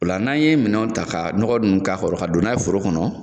Ola n'an ye minɛnw ta ka nɔgɔ nunnu ka don n'a ye foro kɔnɔ